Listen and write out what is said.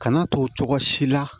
Kana to cogo si la